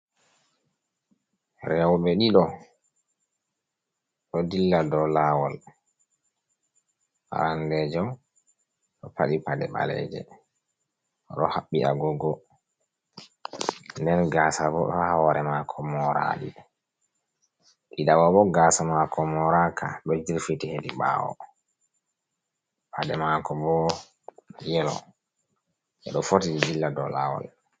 Rewɓe ɗiɗo do dilla do lawol ,arandejo do padi pade baleje do habbi agugo, den gasa bo do hore mako moraka ,ɗiɗo bo gasa mako moraka do jirfiti hedi bawo pade mako bo yelo je do foti dilla do lawol.